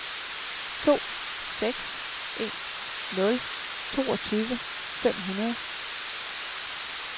to seks en nul toogtyve fem hundrede